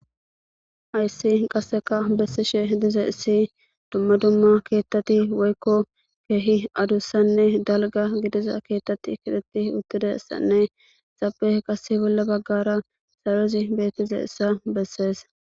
Ayssi qasseka bessishe dize issi dumma dumma keettati woykko keehi adussanne dalga gidiza keettati kiteti uttidessanne zabe qasse bolla baggara sarozi bettize issa bessees.